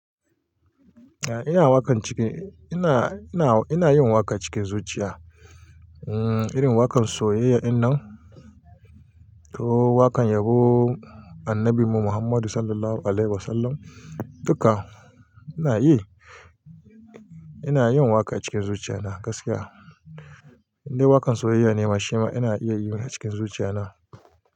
Eh ina waƙan cikin ina ina, ina, ina yin waƙa cikin zuciya. Um, irin waƙan soyayya ɗin nan, ko waƙan yabon annabin mu Muhammadu Sallallahu Alaihi Wasallam duka ina yi. Ina yin waƙa cikin zuciya na gaskiya. Indai waƙan soyayya ne ma shima ina iya yin shi cikin zuciya na.